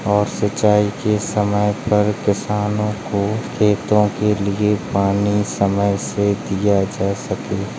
और सिंचाई के समय पर किसानो को खेतों के लिए पानी समय से दिया जा सके।